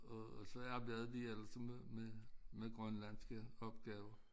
Og og så arbejdede de alle sammen med Grønlandske opgaver